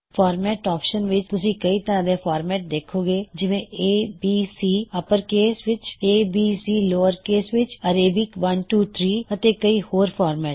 format option ਵਿੱਚ ਤੁਸੀਂ ਕਈ ਤਰ੍ਹਾ ਦੇ ਫਾਰਮੈਟ ਦੇਖੋਂਗੇ ਜਿਵੇ A B C ਅੱਪਰਕੇਸ ਵਿੱਚ a b c ਲੋਅਰਕੇਸ ਵਿੱਚ ਐਰੇਬਿਕ 1 2 3 ਅਤੇ ਕਈ ਹੋਰ ਫੌਰਮੈਟ